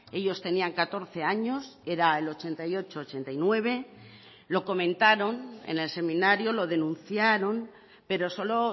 ellos tenían catorce años era el ochenta y ocho ochenta y nueve lo comentaron en el seminario lo denunciaron pero solo